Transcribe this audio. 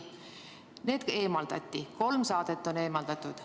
Need saated eemaldati, kolm saadet on eemaldatud.